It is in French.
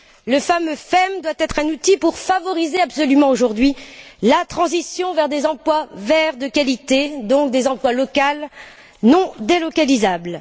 Le fameux FEM doit être un outil favorisant absolument aujourd'hui la transition vers des emplois verts de qualité, donc des emplois locaux non délocalisables.